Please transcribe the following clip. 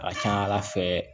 A ka ca ala fɛ